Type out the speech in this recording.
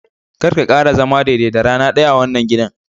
karka kara zama daidai da rana daya a wannan gidan.